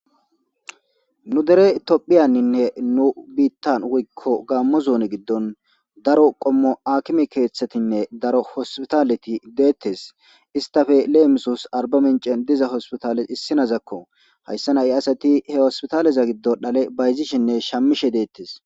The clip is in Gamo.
Nu dere itophiyanninne nu biittan wikko gammo zuuni giddon daro qommo akime keeththetinne daro hospitaleti deettes istafe leemisos arba mincen diza hospitales issinazakko hayssa na'i asati he hospitaleza giddon dhale bayzishinne shamishe deettes.